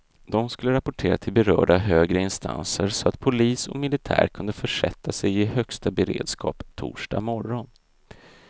De skulle rapportera till berörda högre instanser så att polis och militär kunde försätta sig i högsta beredskap torsdag morgon.